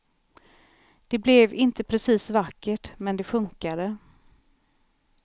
Det blev inte precis vackert, men det funkade.